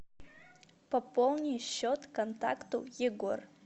пополни счет контакту егор